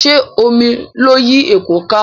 Ṣé omi ló yí èkó ka?